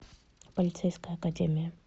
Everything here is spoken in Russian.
полицейская академия